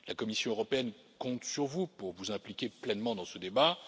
La Commission européenne compte sur vous pour vous impliquer pleinement dans ce débat.